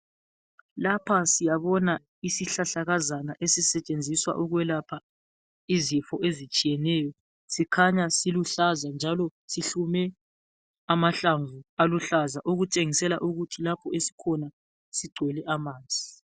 Lapha siyabona isihlahlakazana esisetshenziswa ukwelapha izifo ezitshiyeneyo. Sikhanya siluhlaza njalo sihlume silamahlamvu aluhlaza okutshengisela ukuthi lapha esikhona sigcwele amanzi.